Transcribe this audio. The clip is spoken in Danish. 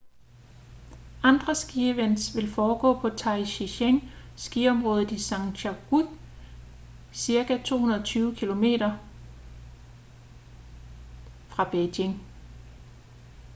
andre skievents vil foregå på taizicheng skiområdet i zhangjiakou cirka 220 km 140 mil fra beijing